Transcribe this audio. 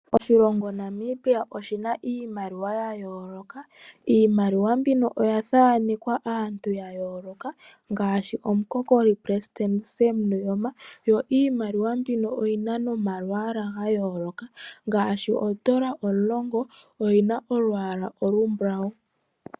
Oshilongo Namibia oshina iimaliwa ya yooloka, iimaliwa mbino oya thaanekwa aantu ya yooloka ngaashi omukokoli pelesitende Sem Nujoma, yo iimaliwa mbino oyina nomalwaala ga yooloka ngaashi oondola omulongo oyina olwaala olumbulawu.